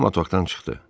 Cema otaqdan çıxdı.